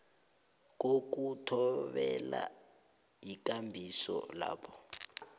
kokuthobelana yikambiso lapho